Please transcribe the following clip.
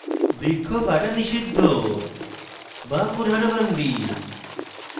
বৃক্ষ কাটা নিষিদ্ধ ban kurhad bandi